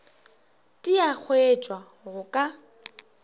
di a hwetšwa go ka